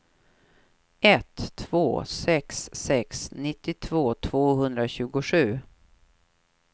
ett två sex sex nittiotvå tvåhundratjugosju